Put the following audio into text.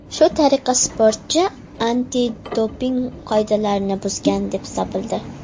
Shu tariqa sportchi antidoping qoidalarini buzgan deb topildi.